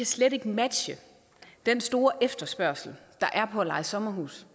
slet ikke kan matche den store efterspørgsel der er på at leje sommerhus